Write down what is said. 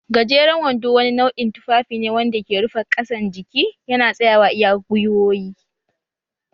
Gajeran wando wani nau'in tufafi ne wanda ke rufe ƙasan jiki yana tsayawa iya gwiwoyi